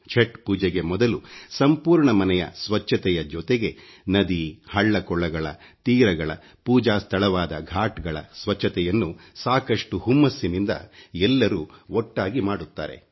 ಛಟ್ ಪೂಜೆಗೆ ಮೊದಲು ಸಂಪೂರ್ಣ ಮನೆಯ ಸ್ವಚ್ಛತೆಯ ಜೊತೆಗೆ ನದಿ ಹಳ್ಳ ಕೊಳ್ಳಗಳ ತೀರಗಳ ಪೂಜಾ ಸ್ಥಳವಾದ ಘಾಟ್ಗಳ ಸ್ವಚ್ಛತೆಯನ್ನು ಸಾಕಷ್ಟು ಹುಮ್ಮಸ್ಸಿನಿಂದ ಎಲ್ಲರೂ ಒಟ್ಟಾಗಿ ಮಾಡುತ್ತಾರೆ